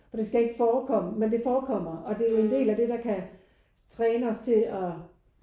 For det skal ikke forekomme med det forekommer og det er jo en del af det der kan træne og til at